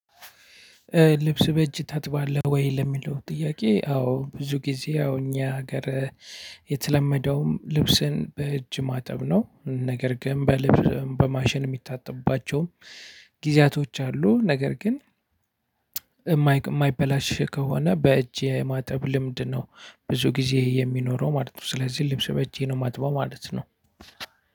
ልብስ በእጅ ታጥባለህ ወይ ለሚለው ጥያቄ? አዎ ብዙ ጊዜ አሁን እኛ ሀገር። የተለመደውም ልብስን በእጅ ማጠብ ነው ነገር ግን በልብስ በማሽን የሚታጠብባቸውም ጊዜያቶች አሉ። ነገር ግን የማይበላሽ ከሆነ በእጄ የማጠብ ልምድ ነው። ብዙ ጊዜ የሚኖረው ማለት ነው። ስለዚህ ልብስ በእጄ ነው የማጥበው ማለት ነው።